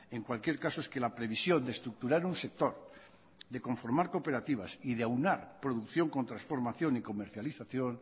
en cualquier caso es que la previsión de estructurar un sector de conformar cooperativas y de aunar producción con transformación y comercialización